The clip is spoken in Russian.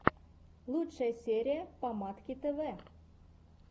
лучшая серия помадки тэвэ